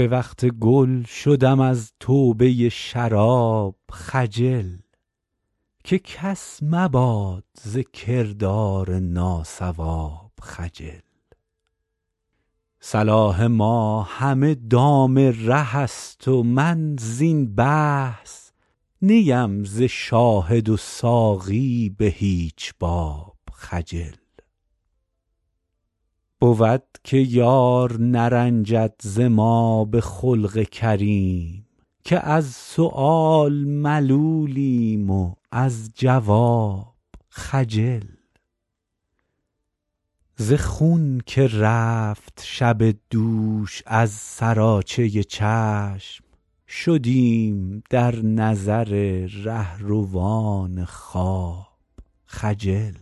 به وقت گل شدم از توبه شراب خجل که کس مباد ز کردار ناصواب خجل صلاح ما همه دام ره است و من زین بحث نی ام ز شاهد و ساقی به هیچ باب خجل بود که یار نرنجد ز ما به خلق کریم که از سؤال ملولیم و از جواب خجل ز خون که رفت شب دوش از سراچه چشم شدیم در نظر رهروان خواب خجل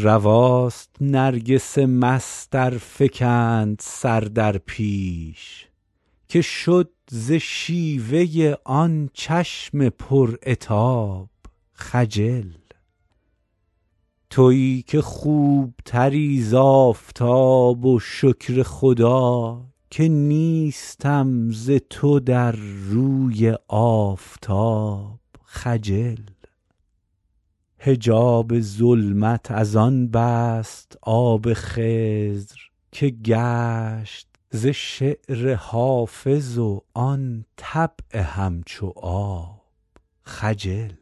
رواست نرگس مست ار فکند سر در پیش که شد ز شیوه آن چشم پر عتاب خجل تویی که خوب تری ز آفتاب و شکر خدا که نیستم ز تو در روی آفتاب خجل حجاب ظلمت از آن بست آب خضر که گشت ز شعر حافظ و آن طبع همچو آب خجل